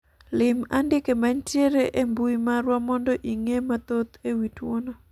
lim andike manitiere e mbui marwa mondo ing'e mathoth ewi tuono